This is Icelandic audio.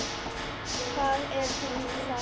Hvað er hún að fara?